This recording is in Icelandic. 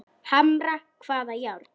Hamra hvaða járn?